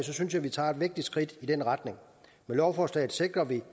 synes jeg vi tager et vigtigt skridt i den retning med lovforslaget sikrer vi